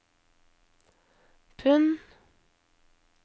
pund